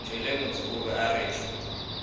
ntšwelemotse o be a rwešwa